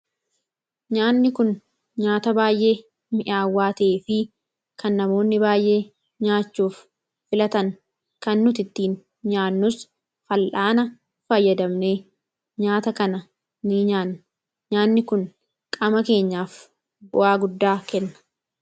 Nyaanni kun nyaata baay'ee mi'aawwaa ta'ee fi kan namoonni baayyee nyaachuuf filatan kan nuti ittiin nyaannus fallaana fayyadamne, nyaata kana ni nyaanna nyaanni kun qaama keenyaaf bu'aa guddaa kenna.